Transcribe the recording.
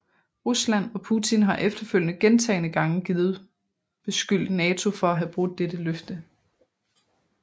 Rusland og Putin har efterfølgende gentagende gange givet beskyldt NATO for at have brudt dette løfte